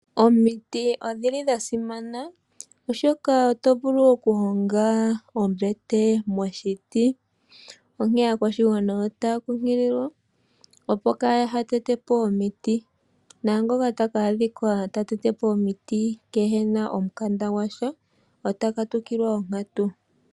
Omiti odhi li dha simana, oshoka oto vulu okuhonga ombete moshiti. Onkene aakwashigwana otaya kunkililwa, opo kaya tete po omiti naangoka taka adhika ta tete po omiti kehe na omukanda gwa sha ota katukilwa onkatu.